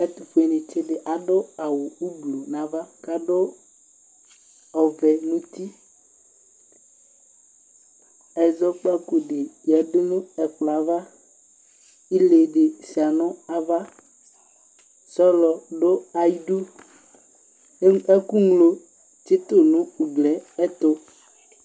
Ɛtʋfuenɩtsɩ dɩ adʋ awʋ ublu n'ava k'adʋ ɔvɛ n'uti Ɛzɔkpako dɩ yǝdu n'ɛkplɔava ,ile dɩ sʋɩa n'ava ,sɔlɔ dʋ ayidu Ɛkʋŋlo tsɩtʋ n'uglie ɛtʋ